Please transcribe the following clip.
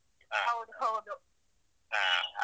ಹೌದು ಹೌದು.